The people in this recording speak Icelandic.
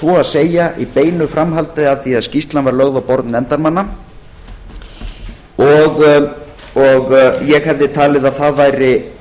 svo að segja í beinu framhaldi af því að skýrslan á borð nefndarmanna ég hefði jafnframt talið að það væri